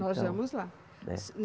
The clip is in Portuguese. Nós vamos lá.